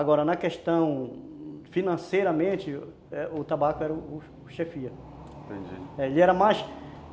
Agora, na questão financeiramente, o tabaco era o o chefia. Entendi, e era mais